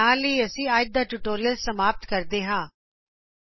ਇਸ ਦੇ ਨਾਲ ਹੀ ਅਸੀ ਅੱਜ ਦਾ ਟਯੂਟੋਰੀਅਲ ਸਮਾਪਤ ਕਰਦੇ ਹਾੰ